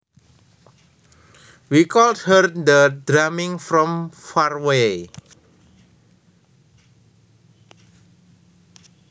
We could hear the drumming from far away